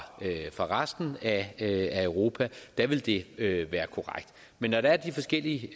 fra resten af europa ville det det være korrekt men når der er de forskellige